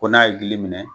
Ko n'a ye gili minɛ